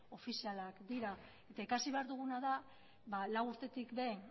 ofizialak dira eta ikasi behar duguna da lau urtetik behin